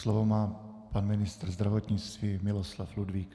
Slovo má pan ministr zdravotnictví Miloslav Ludvík.